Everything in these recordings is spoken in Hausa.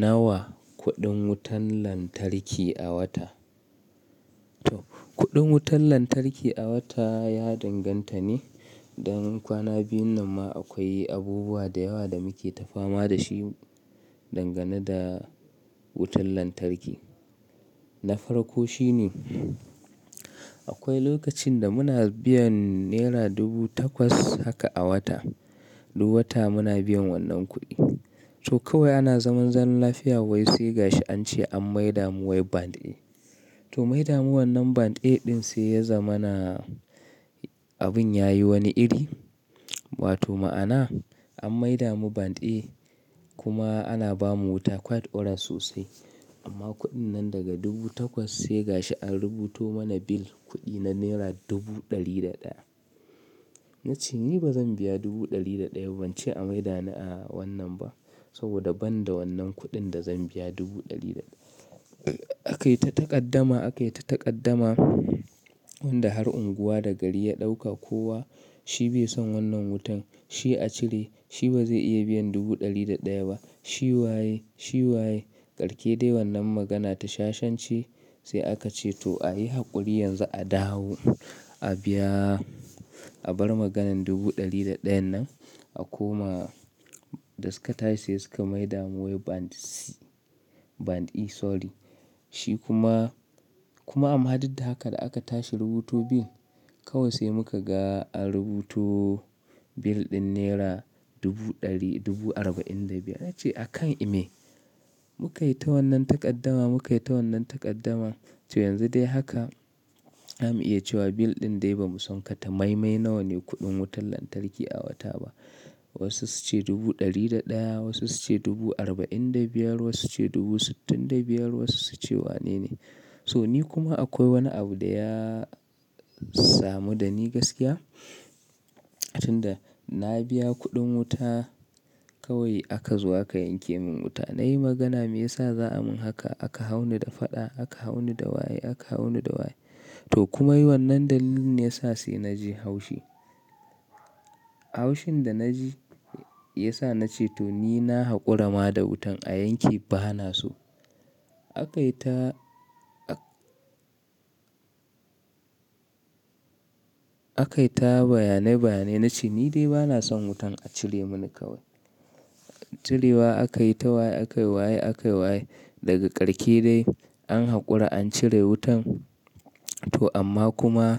Nawa kuɗin wutan lantarki a wata? To, kuɗin wutan lantarki a wata ya danganta ne, dan kwana biyun nan ma akwai abubuwa da yawa da muke ta fama da shi dangane da wutan lantarki. Nafarko shi ne akwai lokacin da muna biyan nera dubu takwas haka a wata, duk wata muna biyan wannan kuɗi. To kawai ana zaman zaman lafiya wai sai ga shi an ce an maida mu wai band A. To maida mu wannan band A ɗin sai ya zama na abin yayi wani iri. Wato ma'ana an maida mu band A kuma ana ba mu wuta quiet oright sosai amma kuɗin nan daga dubu takwas sai ga shi an rubuto mana bill kuɗi na naira dubu ɗari da ɗaya. Na ce ni ba zan biya dubu ɗari da ɗaya ba, ban ce a maida ni a wannan ba saboda ban da wannan kuɗin da zan biya dubu ɗari da ɗaya. Akayi ta taƙaddama, akayi ta taƙaddama wanda har unguwa da gari ya ɗauka kowa shi bai san wannan wutan. Shi a cire, shi ba zai iya biyan dubu ɗari da ɗaya ba. Shi waye? Shi waye? Karke dai wannan magana ta shashence sai aka ce to a yi haƙuri yanzu a dawo, a biya, a bar maganan dubu ɗari da ɗayan nan. A koma, da suka tashi sai suka maida mu wai band C, band E sorry. Shi kuma, kuma amma duk da haka da aka tashi rubuto bill, kawai sai muka ga an rubuto bill ɗin naira dubu ɗari dubu arba'in da biyar. Na ce a kan ime muka yi ta wannan taƙaddama, muka yi ta wannan taƙaddama. To yanzu dai haka zamu iya cewa bill ɗin dai bamu son katamaimai nawa ne kuɗin wutan lantarki a wata ba. Wasu su ce dubu ɗari da ɗaya, wasu su ce dubu arba'in da biyar, wasu su ce dubu sittin da biyar, wasu su ce wane ne. To ni kuma akwai wani abu da ya samu da ni gaskiya, tun da na biya kuɗin wuta kawai aka zo aka yanke min wuta. Na yi magana me yasa za a min haka? Aka hauni da faɗa, aka hauni da waye, aka hauni da waye. To kuma yi wannan dalilin ne ya sa sai na ji haushi. Haushin da na ji ya sa na ce to ni na haƙura ma da wutan a yanke bana so. Akai ta, akai ta bayane bayane na ce ni dai bana son wutan a cire mani kawai. Cirewa aka yi ta waye, aka yi waye, aka yi waye. Daga ƙarshe dai an haƙura an cire wutan to amma kuma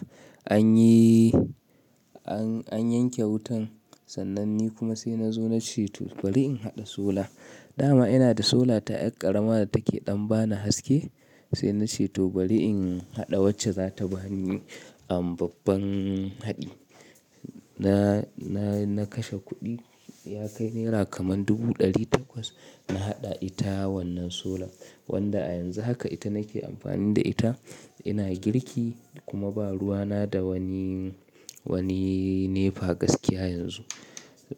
anyi, an, an yanke wutan sannan ni kuma sai na zo na ce to bari in haɗa sola. Da ma ina da sola ta ƴar ƙarama da take ɗan bani haske sai na ce to bari in haɗa wacce za ta bani am babban haɗi. Na, na, na kashe kuɗi ya kai naira kaman dubu ɗari takwas na haɗa ita wannan sola wanda a yanzu haka ita nake amfani da ita. Ina girki kuma ba ruwa na da wani, wani nefa gaskiya yanzu.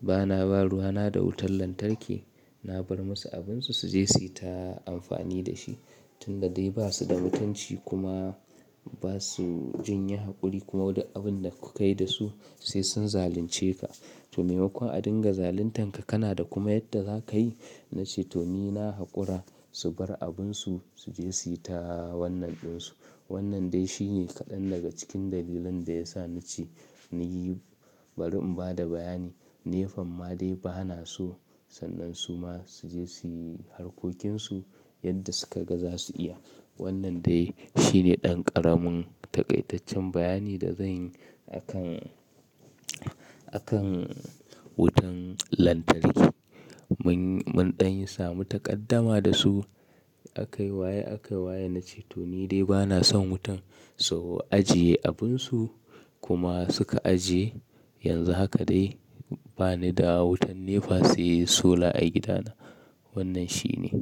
Bana ba ruwa na da wutan lantarki. Na bar musu abinsu su je su yi ta amfani da shi tun da dai ba su da mutunci kuma ba su jin yi haƙuri kuma duk abun da ku kai da su sai sun zalunce ka. To maimakon a dinga zaluntanka kana da kuma yadda za ka yi na ce to ni na haƙura su bar abunsu su je su yi ta wannan ɗin su. Wannan dai shi ne kaɗan daga cikin dalilan da ya sa na ce na yi bari in ba da bayani. Nefan ma dai bana so sannan su ma su je su yi harkokinsu yadda suka ga za su iya. Wannan dai shi ne ɗan ƙaramin taƙaitaccen bayani da zanyi akan, akan wutan lantarki. Mun, mun ɗan yi samu taƙaddama da su, aka yi waye, aka yi waye na ce to ni dai bana son wutan su ajiye abunsu kuma suka ajiye. Yanzu haka dai bani da wutan nefa sai sola a gidana. Wannan shi ne.